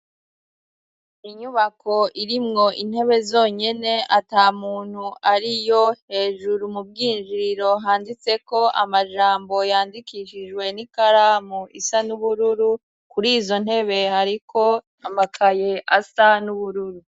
Inyubako iri mwo intebe zonyene ata muntu ari yo hejuru mubwinjiriro handitseko amajambo yandikishijwe n'i karamu isa n'ubururu kuri izo ntebe hariko amakaye asa n'ubururu.